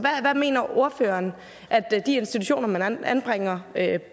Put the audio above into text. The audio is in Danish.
hvad mener ordføreren de institutioner man anbringer